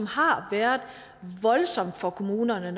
har været voldsomt for kommunerne